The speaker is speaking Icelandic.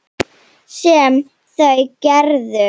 Sem þau gerðu.